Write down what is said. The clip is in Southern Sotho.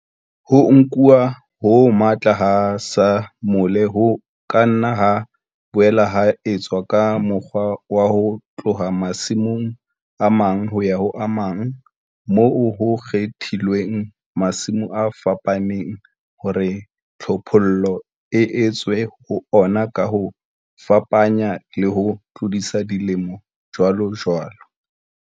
Ho nkuwa ho matla ha samole ho ka nna ha boela ha etswa ka mokgwa wa ho tloha masimong a mang ho ya ho a mang moo ho kgethilweng masimo a fapaneng hore tlhophollo e etswe ho ona ka ho fapanya le ho tlodisa dilemo jwalojwalo.